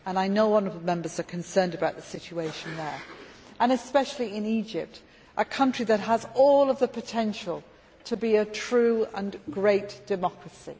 I know that honourable Members are concerned about the situation in this region and especially in Egypt, a country that has all the potential to be a true and great democracy.